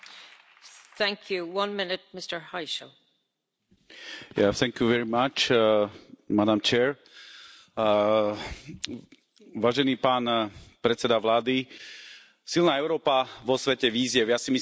Vážená pani predsedajúca, silná Európa vo svete vízie ja si myslím, že to je naozaj veľmi dobré heslo vášho predsedníctva, pretože Európa má svoje silné stránky a musí sa naučiť vedieť ich